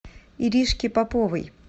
иришке поповой